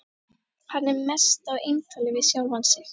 Hann er mest á eintali við sjálfan sig.